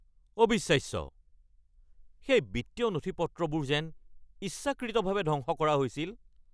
অবিশ্বাস্য! সেই বিত্তীয় নথিপত্ৰবোৰ যেন ইচ্ছাকৃতভাৱে ধ্বংস কৰা হৈছিল!